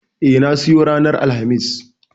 E, na siyo ranar Alhamis.